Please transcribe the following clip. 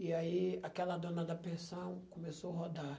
E aí aquela dona da pensão começou a rodar.